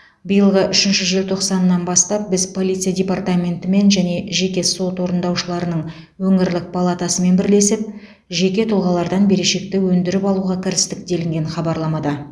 биылғы үшінші желтоқсанынан бастап біз полиция департаментімен және жеке сот орындаушыларының өңірлік палатасымен бірлесіп жеке тұлғалардан берешекті өндіріп алуға кірістік делінген хабарламада